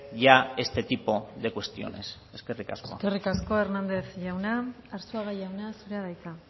ya este tipo de cuestiones eskerrik asko eskerrik asko hernández jauna arzuaga jauna zurea da hitza